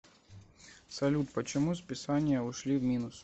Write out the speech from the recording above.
салют почему списание ушли в минус